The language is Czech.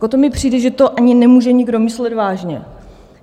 To mi přijde, že to ani nemůže nikdo myslet vážně.